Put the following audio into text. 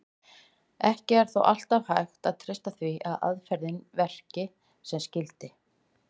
Ekki er þó alltaf hægt að treysta því að aðferðin verki sem skyldi.